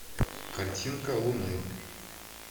картинка луны